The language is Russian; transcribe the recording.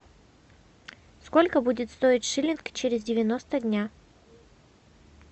сколько будет стоить шиллинг через девяносто дня